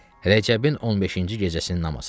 Rəcəbin 15-ci gecəsinin namazıdır.